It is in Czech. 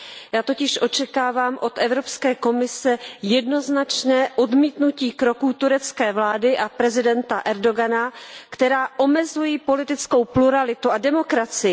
Já totiž očekávám od Evropské komise jednoznačné odmítnutí kroků turecké vlády a prezidenta Erdogana, které omezují politickou pluralitu a demokracii.